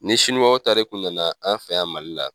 Ni siniwaw ta de kun nana anw fɛ yan Mali la